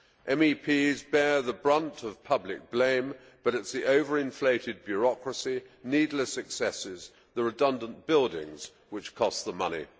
MEPs bear the brunt of public blame, but it is the overinflated bureaucracy, needless excesses and the redundant buildings which cost the money.